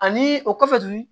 Ani o kɔfɛ tuguni